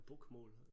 Bokmål